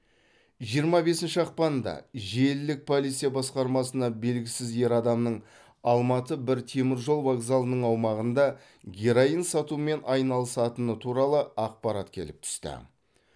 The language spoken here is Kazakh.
жиырма бесінші ақпанда желілік полиция басқармасына белгісіз ер адамның алматы бір теміржол вокзалының аумағында героин сатумен айналысатыны туралы ақпарат келіп түсті